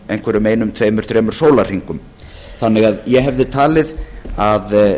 einhverjum einum tveimur þremur sólarhringum ég hefði því talið að